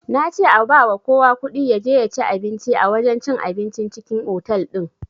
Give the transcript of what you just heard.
Nace a bawa kowa kuɗi yaje yaci abinci a wajen cin abincin cikin otal din